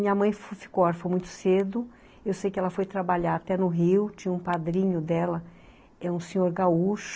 Minha mãe ficou órfão muito cedo, eu sei que ela foi trabalhar até no Rio, tinha um padrinho dela, é um senhor gaúcho,